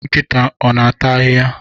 Nkịta ọ na-ata ahịhịa?